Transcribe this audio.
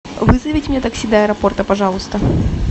вызовите мне такси до аэропорта пожалуйста